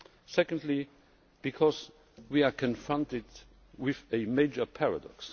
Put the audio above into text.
Secondly, because we are confronted with a major paradox.